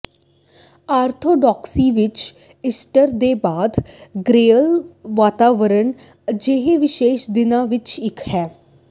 ਆਰਥੋਡਾਕਸਈ ਵਿਚ ਈਸਟਰ ਦੇ ਬਾਅਦ ਗ੍ਰੈਜੂਅਲ ਵਾਤਾਵਰਣ ਅਜਿਹੇ ਵਿਸ਼ੇਸ਼ ਦਿਨਾਂ ਵਿੱਚੋਂ ਇਕ ਹੈ